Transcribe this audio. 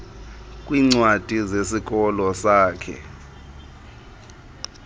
kwiincwadi zesikolo sakhe